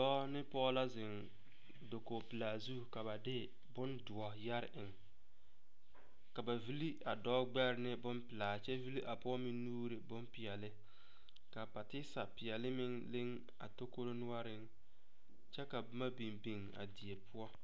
Dɔɔ ne pɔge la zeŋ dakogepelaa zu ka ba de bondoɔ yɛre eŋ ka ba villi a dɔɔ gbɛre ne bonpelaa kyɛ villi a pɔge nuure ne bonpeɛlle ka a patisa peɛlle meŋ leŋ a takoro noɔreŋ kyɛ ka boma biŋ biŋ a die poɔ.